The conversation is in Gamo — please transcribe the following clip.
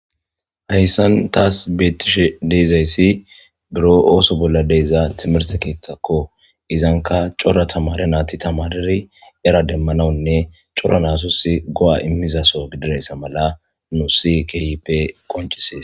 Hayssan taas beettishe de'izayssi biro ooso bolla de'iza timirse keethakko izanka cora tamare naati tamareri era demmanawunne cora nasus go'a immizaso gididayssa mala nussi keehiipe qoncissees